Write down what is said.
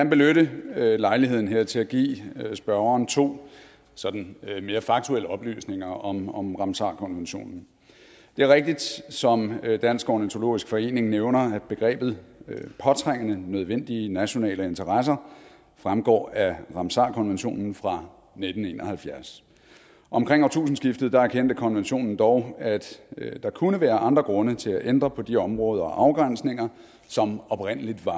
benytte lejligheden her til at give spørgeren to sådan mere faktuelle oplysninger om om ramsarkonventionen det er rigtigt som dansk ornitologisk forening nævner at begrebet påtrængende nødvendige nationale interesser fremgår af ramsarkonventionen fra nitten en og halvfjerds omkring årtusindskiftet erkendte konventionen dog at der kunne være andre grunde til at ændre på de områder og afgrænsninger som oprindelig var